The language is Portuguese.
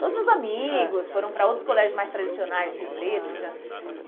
Todos os meus amigos, ãh, foram para outros colégios mais tradicionais em Rio Preto que já. Aham.